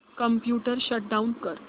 computer shut down कर